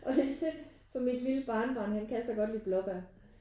Og det er synd for mit lille barnebarn han kan så godt lide blåbar